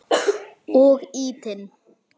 Og ýtinn.